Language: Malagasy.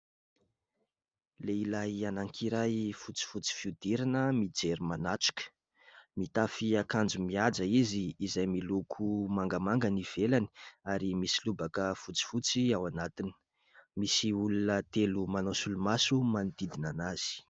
Lehilahy anankiray fotsifotsy fihodirana mijery manatrika. Mitafy akanjo mihaja izy, izay miloko mangamanga ny ivelany ary misy lobaka fotsifotsy ao anatiny; misy olona telo manao solomaso manodidina azy.